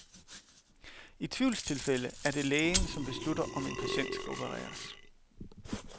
I tvivlstilfælde er det lægen, som beslutter, om en patient skal opereres.